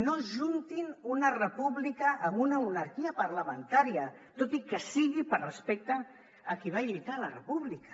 no ajuntin una república amb una monarquia parlamentària tot i que sigui per respecte a qui va lluitar la república